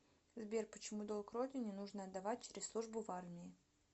сбер почему долг родине нужно отдавать через службу в армии